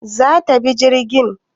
zata bi jirgin?